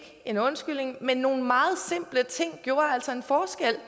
en undskyldning men nogle meget simple ting gjorde altså en forskel